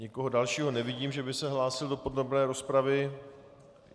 Nikoho dalšího nevidím, že by se hlásil do podrobné rozpravy.